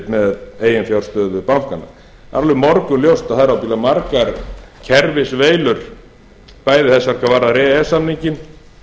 með eiginfjárstöðu bankanna alveg morgunljóst að það eru ábyggilega margar kerfisveilur bæði sem varða e e s samninginn